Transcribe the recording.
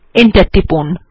enter টিপুন